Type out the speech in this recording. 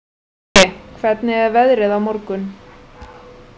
Skeggi, hvernig er veðrið á morgun?